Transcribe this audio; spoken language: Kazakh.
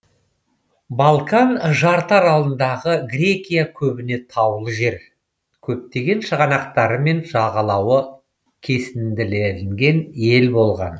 балкан жартыаралындағы грекия көбіне таулы жер көптеген шығанақтарымен жағалауы кесінділенген ел болған